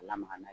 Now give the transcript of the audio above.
Lamaga n'a ye